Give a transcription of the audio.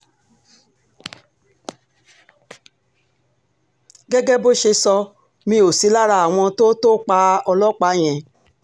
gẹ́gẹ́ bó ṣe sọ mí ó sí lára àwọn tó tó pa ọlọ́pàá yẹn